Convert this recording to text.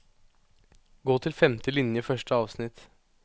Gå til femte linje i første avsnitt